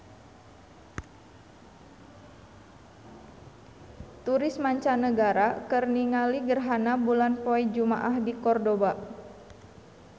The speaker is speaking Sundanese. Turis mancanagara keur ningali gerhana bulan poe Jumaah di Kordoba